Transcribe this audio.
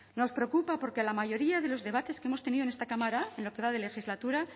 nos preocupa porque la mayoría de los debates que hemos tenido en esta cámara en lo que va de legislatura